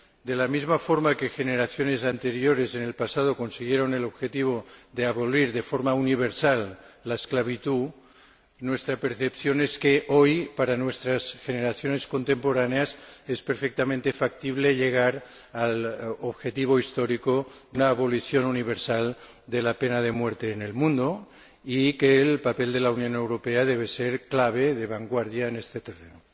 De la misma forma que generaciones anteriores consiguieron en el pasado el objetivo de abolir de forma universal la esclavitud, nuestra percepción es que hoy, para nuestras generaciones contemporáneas, es perfectamente factible llegar al objetivo histórico de la abolición universal de la pena de muerte en el mundo y que el papel de la Unión Europea debe ser clave, de vanguardia, en este terreno.